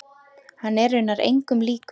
Hann er raunar engum líkur.